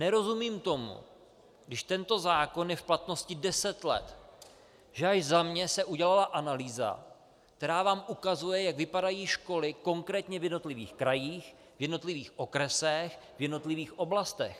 Nerozumím tomu, když tento zákon je v platnosti deset let, že až za mě se udělala analýza, která vám ukazuje, jak vypadají školy konkrétně v jednotlivých krajích, v jednotlivých okresech, v jednotlivých oblastech.